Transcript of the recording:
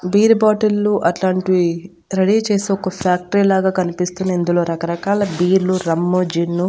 beer బాటిళ్లు అట్లాంటివి ready చేసే ఒక ఫ్యాక్టరీ లాగా కనిపిస్తుంది ఇందులో రకరకాల బీర్లు రమ్ము జిన్ను --